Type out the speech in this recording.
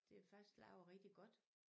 Det er faktisk lavet rigtig godt